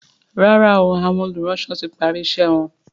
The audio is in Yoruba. ràrá o Àwọn olùránsọ tí pari iṣé wón.